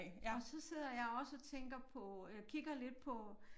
Og så sidder jeg også og tænker på øh kigger lidt på